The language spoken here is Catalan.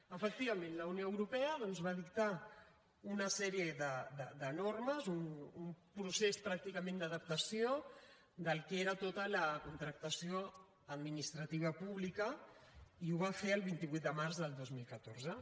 efectivament la unió europea doncs va dictar una sèrie de normes un procés pràcticament d’adaptació del que era tota la contractació administrativa pública i ho va fer el vint vuit de març del dos mil catorze